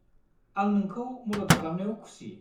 आं नोंखौ मदद खालामनायाव खुसि।